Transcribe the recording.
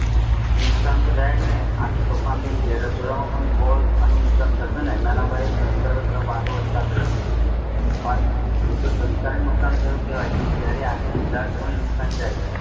નુકસાન તો જાય જ ન આ તો તોફાન દિન ની જાહેરત નુકસાન થશે પણ એતો સંસ્થા ને નુકશાન થયું છે તત્યારે તો આ બધા ને નુકસાન જાય